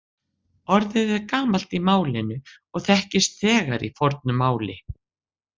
Orðið er gamalt í málinu og þekkist þegar í fornu máli.